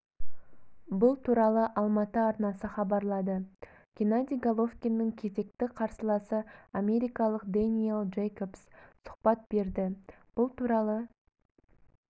бұл туралы алматы арнасы хабарлады геннадий головкиннің кезекті қарсыласы америкалық дэниэль джейкобс сұхбат берді бұл туралы